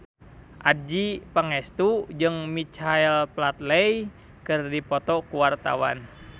Adjie Pangestu jeung Michael Flatley keur dipoto ku wartawan